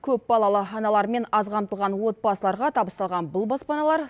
көпбалалы аналар мен аз қамтылған отбасыларға табысталған бұл баспаналар